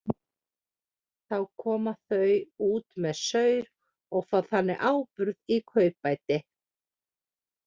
Þá koma þau út með saur og fá þannig áburð í kaupbæti.